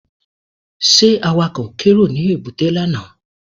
Ṣé Awakọ̀ kérò ní èbúté lánàá?